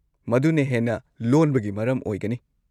ꯃꯗꯨꯅ ꯍꯦꯟꯅ ꯂꯣꯟꯕꯒꯤ ꯃꯔꯝ ꯑꯣꯏꯒꯅꯤ!